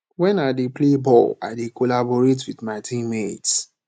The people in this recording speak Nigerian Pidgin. wen i dey play ball i dey collaborate wit my team mates